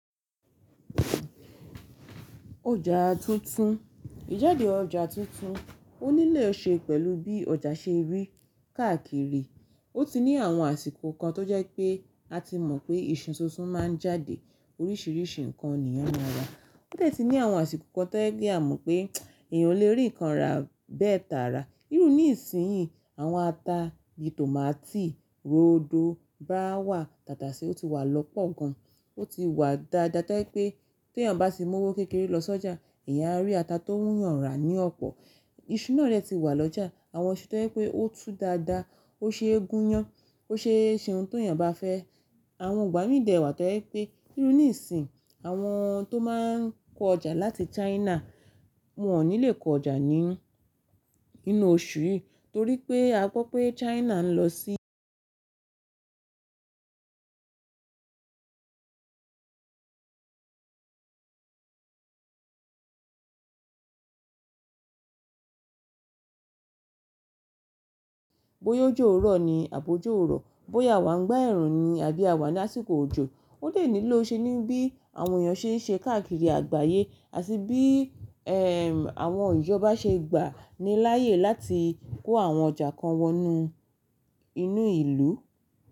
Ọjà tuntun, ìjáde ọjà tuntun ó nílò ṣe pẹ̀lú bí ọjà ṣe rí káàkiri. Ó ti ní àwọn àsìkò kan tó jẹ́ pé a ti mọ̀ pé ìṣú tuntún máa ń jáde oríṣìíríṣìí nǹkan ènìyàn máa rà. Ó lè ti ní àwọn àsìkò kan tó jẹ́ a mọ̀ pé èèyàn lè rí nǹkan rà bẹ́ẹ̀ tààrà. Írú ní ìsinsìnyí àwọn ata bí i tòmátì, ródò, báwà, tàtàṣẹ́, ó ti wà lọ́pọ̀ gan. Ó ti wà dáadáa to yẹ̀ pé tí èèyàn bá si mú owó kékeré lọ sọ́jà, èèyàn á rí ata tó wù ú yàn rà ní ọ̀pọ̀. Iṣu náà dẹ̀ ti wà lọ́jà, àwọn iṣu tó jẹ́ pé ó tú dáadáa, ó ṣe é gúnyán, ó ṣe é ṣe ohun tó èèyàn bá fẹ́. Àwọn igbà mí dẹ̀ wà to yẹ̀ pé, irú ní ìsinsìnyí àwọn tó máa ń kó ọjà láti China wọn ò ní lè kó ọjà ní inú oṣù yìí torí pé a gbọ́ pé China ń lọ sí bóyá ojo rọ̀ ni àbojo ó rọ̀, bóyá àwa ń gba ẹ̀rù ni àbí àwa ní àsìkò òjò, ó lè nílò ṣe ní bí àwọn èèyàn ṣe ń ṣe káàkiri àgbáyé àti bí i àwọn ìjọba ṣe gbà ni láàyè láti kó àwọn ọjà kan wọ inú ìlú.